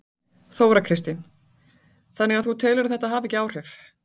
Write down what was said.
Þóra Kristín: Þannig að þú telur þetta ekki hafa áhrif?